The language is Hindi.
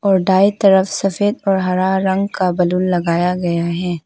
और दाई तरफ सफेद और हरा रंग का बैलून लगाया गया है।